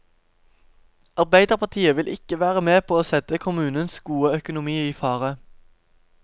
Arbeiderpartiet vil ikke være med på å sette kommunens gode økonomi i fare.